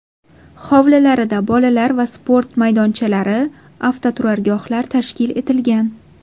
Hovlilarida bolalar va sport maydonchalari, avtoturargohlar tashkil etilgan.